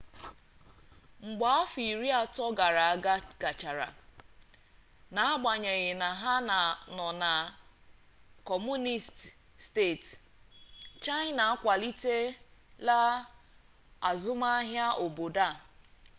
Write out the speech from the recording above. mgbe afọ iri atọ gara aga gachara n'agbanyeghị na ha nọ na kọmunisti steeti china akwalitela azụmaahia obodo ha